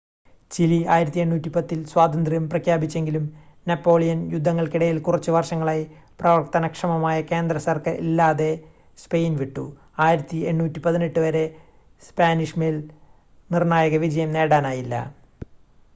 Chile 1810 ൽ സ്വാതന്ത്ര്യം പ്രഖ്യാപിച്ചെങ്കിലും നെപ്പോളിയൻ യുദ്ധങ്ങൾക്കിടയിൽ കുറച്ച് വർഷങ്ങളായി പ്രവർത്തനക്ഷമമായ കേന്ദ്രസർക്കാർ ഇല്ലാതെ സ്പെയിൻ വിട്ടു 1818 വരെ സ്പാനിഷ് മേൽ നിർണ്ണായക വിജയം നേടാനായില്ല